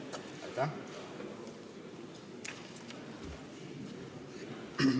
Aitäh!